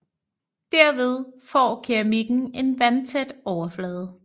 Derved får keramikken en vandtæt overflade